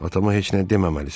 Atama heç nə deməməlisən.